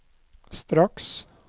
straks